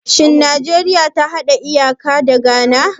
Shin Najeriya ta hada iyaka da Ghana?